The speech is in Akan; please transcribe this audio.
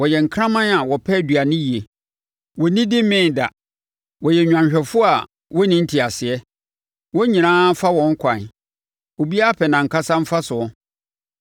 Wɔyɛ nkraman a wɔpɛ aduane yie; wɔnnidi mmee da. Wɔyɛ nnwanhwɛfoɔ a wɔnni nteaseɛ; wɔn nyinaa fa wɔn ɛkwan, obiara pɛ nʼankasa mfasoɔ.